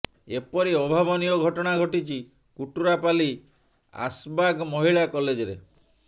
ଏପରି ଅଭାବନୀୟ ଘଟଣା ଘଟିଛି କୁଟରାପାଲ୍ଲୀ ଆସବାଗ୍ ମହିଳା କଲେଜରେ